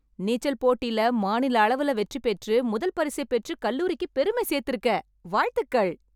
நீச்சல் போட்டில மாநில அளவுல வெற்றி பெற்று முதல் பரிசை பெற்று கல்லூரிக்கு பெருமை சேர்த்துருக்கே... வாழ்த்துகள்.